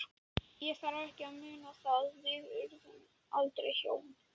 Ég þarf ekki að muna það- við urðum aldrei hjón.